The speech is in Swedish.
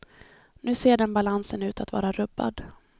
Nu ser den balansen ut att vara rubbad.